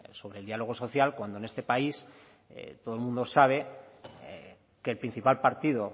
sobre el diálogo social cuando en este país todo el mundo sabe que el principal partido